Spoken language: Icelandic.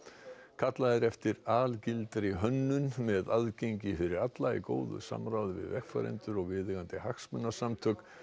kallað er eftir algildri hönnun með aðgengi fyrir alla í góðu samráði við notendur og viðeigandi hagsmunasamtök